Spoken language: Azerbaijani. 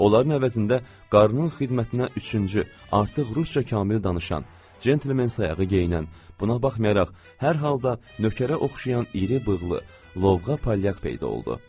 Onların əvəzində qarnının xidmətinə üçüncü, artıq rusca kamillə danışan, cment sayağı geyinən, buna baxmayaraq hər halda nökərə oxşayan iri bığlı, lovğa palyaq peyda oldu.